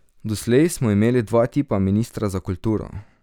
Doslej smo imeli dva tipa ministra za kulturo.